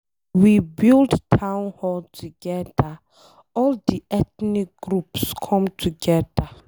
We build town hall together. All the ethnic groups come together.